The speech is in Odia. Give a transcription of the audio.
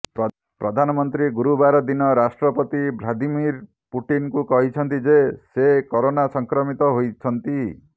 ପ୍ରଧାନମନ୍ତ୍ରୀ ଗୁରୁବାର ଦିନ ରାଷ୍ଟ୍ରପତି ଭ୍ଲାଦିମିର ପୁଟିନଙ୍କୁ କହିଛନ୍ତି ଯେ ସେ କରୋନା ସଂକ୍ରମିତ ହୋଇଛନ୍ତି